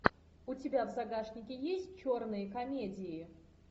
у тебя в загашнике есть черные комедии